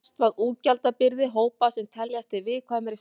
Mest var útgjaldabyrði hópa sem teljast í viðkvæmri stöðu.